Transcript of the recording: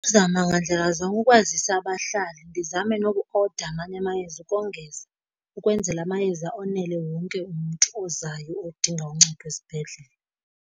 Zama ngandlela zonke ukwazisa abahlali. Ndizame nokuoda amanye amayeza ukongeza ukwenzela amayeza onele wonke umntu ozayo odinga uncedo esibhedlele.